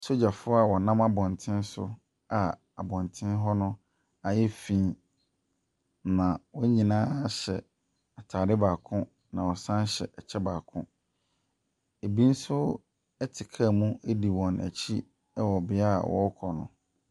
Sogyafoɔ a wɔnam abɔten so a abɔnten hɔ ayɛ fin. Na wɔn nyinaa hyɛ ataade baako na wɔsan hyɛ kyɛ baako. Ebi nso te car mu di wɔn akyi wɔ bea a wɔrekɔ no.